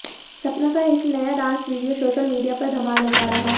सपना का एक नया डांस वीडियो सोशल मीडिया पर धमाल मचा रहा है